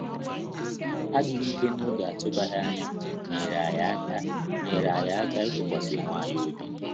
Adịghị ike n'oge atụbaghị anya nyeere anyị aka nyeere anyị aka ịtụkwasị onwe anyị obi